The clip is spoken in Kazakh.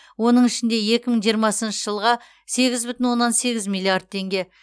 оның ішінде екі мың жиырмасыншы жылға сегіз бүтін оннан сегіз миллиард теңге